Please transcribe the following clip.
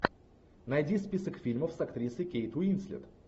найди список фильмов с актрисой кейт уинслет